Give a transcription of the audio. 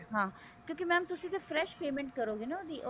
ਹਾਂ mam ਕਿਉਂਕੀ ਤੁਸੀਂ ਤੇ